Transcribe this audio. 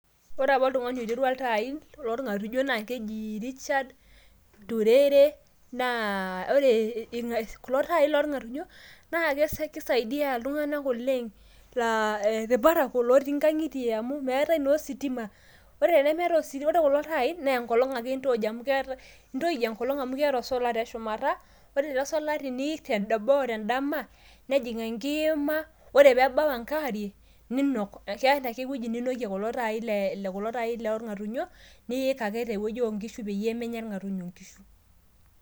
ore apa oltungani oitera iltaai loorngatnyo naa keji Richard Turere. naa ore kulo taai loorngatunyo naa kisaidia iltunganak oleng laa irparakuo lotii nkangitie amu meetae naa ositima .ore temeetae ositi ore kulo taai naa enkolong ake intoij ,intoij enkolong amu keeta osola te shumata .ore ilo sola teniik dama tenkolong nejing enkima ore pebau enkaarie ninok .keeta ake ewueji ninokie kulo taai le kulo taai lorrngatunyo niik ake tewueji oonkishu peyie menya nkishu irngatunyo